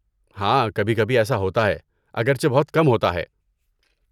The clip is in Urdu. ہاں، کبھی کبھی ایسا ہوتا ہے، اگرچہ بہت کم ہوتا ہے۔